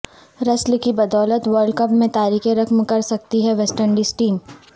رسل کی بدولت ورلڈ کپ میں تاریخ رقم کرسکتی ہے ویسٹ انڈیز ٹیم